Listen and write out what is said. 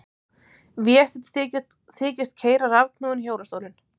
Vésteinn þykist keyra rafknúinn hjólastólinn.